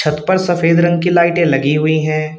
ऊपर सफेद रंग की लाइटे लगी हुई हैं।